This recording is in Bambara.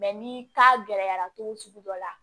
ni gɛlɛyara cogo sugu dɔ la